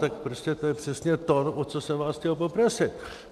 Tak prostě to je přesně to, o co jsem vás chtěl poprosit.